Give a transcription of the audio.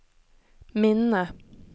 minne